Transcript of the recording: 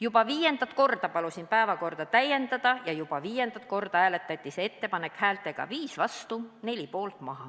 Juba viiendat korda palusin komisjoni päevakorda sellega täiendada ja juba viiendat korda hääletati see ettepanek häältega 5 vastu ja 4 poolt maha.